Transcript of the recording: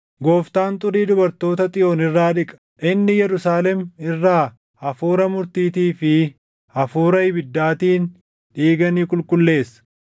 Gooftaan xurii dubartoota Xiyoon irraa dhiqa; inni Yerusaalem irraa hafuura murtiitii fi hafuura ibiddaatiin dhiiga ni qulqulleessa.